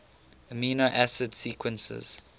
amino acid sequences